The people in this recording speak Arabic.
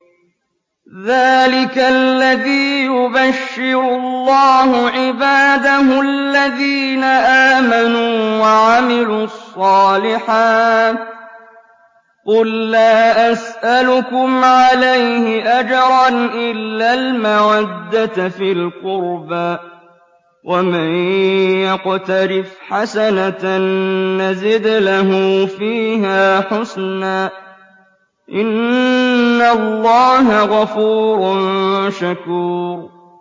ذَٰلِكَ الَّذِي يُبَشِّرُ اللَّهُ عِبَادَهُ الَّذِينَ آمَنُوا وَعَمِلُوا الصَّالِحَاتِ ۗ قُل لَّا أَسْأَلُكُمْ عَلَيْهِ أَجْرًا إِلَّا الْمَوَدَّةَ فِي الْقُرْبَىٰ ۗ وَمَن يَقْتَرِفْ حَسَنَةً نَّزِدْ لَهُ فِيهَا حُسْنًا ۚ إِنَّ اللَّهَ غَفُورٌ شَكُورٌ